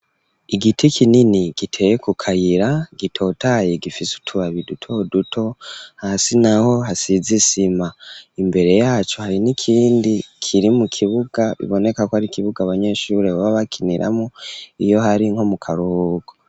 Igiti kinini, giteye ku kayira, gitotaye, gifise utubabi duto duto; hasi naho, hasize isima, imbere yaco, hari n'ikindi, kiri mu kibuga, biboneka ko, ari ikibuga, abanyeshure, baba bakiniramwo, iyo hari, nko mu karuhuko.